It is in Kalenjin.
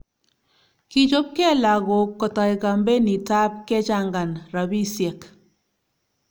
kichopke lokok kotai kampenit ab kechangan rabisiek